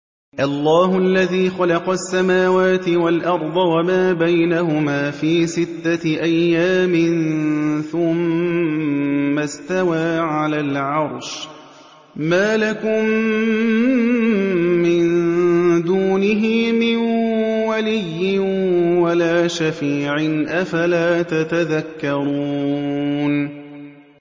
اللَّهُ الَّذِي خَلَقَ السَّمَاوَاتِ وَالْأَرْضَ وَمَا بَيْنَهُمَا فِي سِتَّةِ أَيَّامٍ ثُمَّ اسْتَوَىٰ عَلَى الْعَرْشِ ۖ مَا لَكُم مِّن دُونِهِ مِن وَلِيٍّ وَلَا شَفِيعٍ ۚ أَفَلَا تَتَذَكَّرُونَ